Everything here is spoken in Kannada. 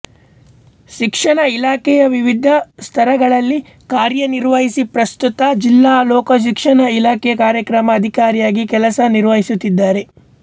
ಶಿಕ್ಷಣ ಇಲಾಖೆಯ ವಿವಿಧ ಸ್ಥರಗಳಲ್ಲಿ ಕಾರ್ಯ ನಿರ್ವಹಿಸಿ ಪ್ರಸ್ತುತ ಜಿಲ್ಲಾ ಲೋಕಶಿಕ್ಷಣ ಇಲಾಖೆ ಕಾರ್ಯಕ್ರಮ ಅಧಿಕಾರಿಯಾಗಿ ಕೆಲಸ ನಿರ್ವಹಿಸುತ್ತಿದ್ದಾರೆ